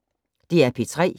DR P3